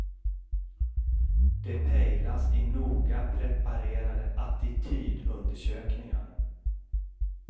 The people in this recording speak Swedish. De pejlas i noga preparerade attitydundersökningar.